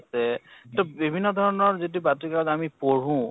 আছে । তʼ বিভিন্ন ধৰণৰ যিটো আমি পঢ়ো